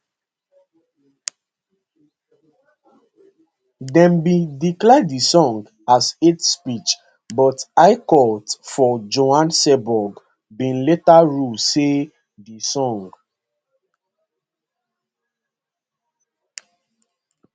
dem bin declare di song as hate speech but high court for johannesburg bin later rule say di song